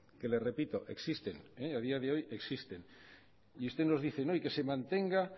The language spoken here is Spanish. que le repito existen a día de hoy existen y usted nos dice no y que se mantenga